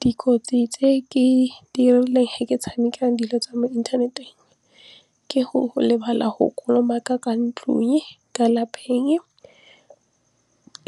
Dikotsi tse ke dirileng he ke tshameka dilo tsa mo inthaneteng ke go lebala go kolomaka ka ntlung ka lapeng